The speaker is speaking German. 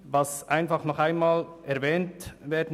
Trotzdem sollte Folgendes nochmals erwähnt werden: